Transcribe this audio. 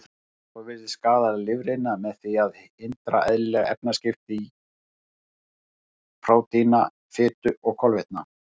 Alkóhól virðist skaða lifrina með því að hindra eðlileg efnaskipti prótína, fitu og kolvetna.